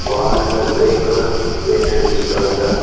வால்ல grey colour paint அடிச்சு இருக்காங்க.